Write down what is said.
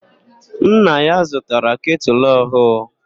Nna ya zụtara ketụlụ ọhụụ..